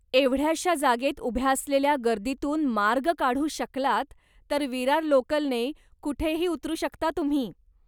एवढ्याशा जागेत उभ्या असलेल्या गर्दीतून मार्ग काढू शकलात, तर विरार लोकलने कुठेही उतरू शकता तुम्ही.